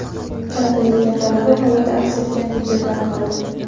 kaltak yegan talaba holati aks etgan video tarqaldi.